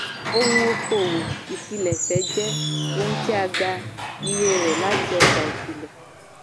ohun okòwò ìpilẹ̀ṣẹ̀ jẹ́ ohun tí a gbà iye rẹ̀ láti ọjà ìpìlẹ̀.